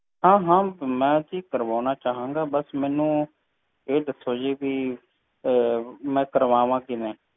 ਕਿ ਕਰਵਾਵਾਂ